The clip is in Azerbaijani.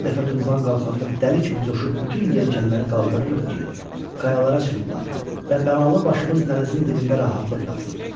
Hər dəfə tufan qalxanda dəli kimi coşub bütün yelkənləri qaldırırıq ki, qayalara çırpılaq və bəlalın başımız dənizin dibində rahatlıq tapsın.